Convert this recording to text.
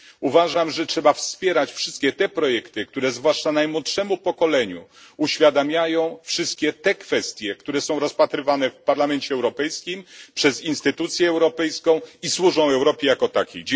Uważam, że trzeba wspierać wszystkie te projekty, które zwłaszcza najmłodszemu pokoleniu uświadamiają wszystkie te kwestie, które są rozpatrywane w Parlamencie Europejskim, przez instytucję europejską i służą Europie jako takiej.